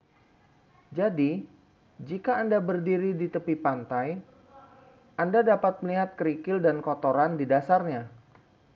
jadi jika anda berdiri di tepi pantai anda dapat melihat kerikil atau kotoran di dasarnya